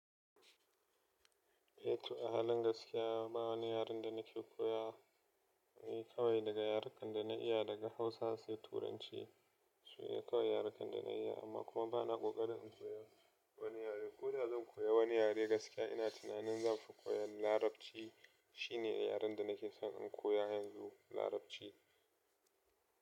Eh to a halin gaskiya ba wani yaren da nake koya. Ni kawai daga yarukan da na iya daga Hausa sai Turanci. Su ne kawai yarukan da na iya amma kuma ba na kokarin in koya wani yare. Ko da zan koya wani yare gaskiya ina tunanin zanfi koyon Larabci. Shi ne yaren da nake son in koya yanzu Larabci.